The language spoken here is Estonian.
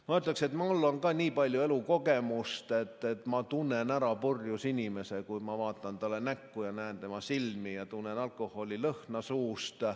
Ma ütleksin, et mul on ka nii palju elukogemust, et ma tunnen ära purjus inimese, kui ma vaatan talle näkku ja näen tema silmi ja tunnen alkoholilõhna suust.